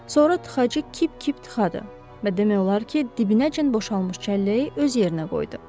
Sonra tıxacı kip-kip tıxadı və demək olar ki, dibinəcən boşalmış çəlləyi öz yerinə qoydu.